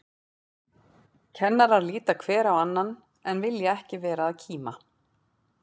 Kennarar líta hver á annan, en vilja ekki vera að kíma.